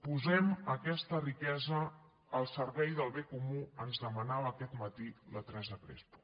posem aquesta riquesa al servei del bé comú ens demanava aquest matí la teresa crespo